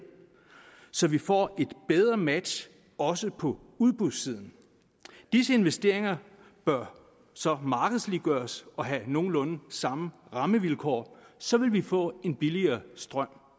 så vi får et bedre match også på udbudssiden disse investeringer bør så markedsliggøres og have nogenlunde samme rammevilkår så vil vi få en billigere strøm